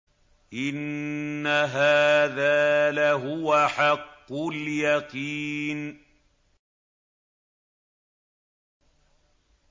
إِنَّ هَٰذَا لَهُوَ حَقُّ الْيَقِينِ